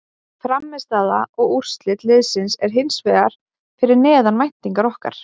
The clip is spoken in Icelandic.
Frammistaða og úrslit liðsins er hins vegar fyrir neðan væntingar okkar.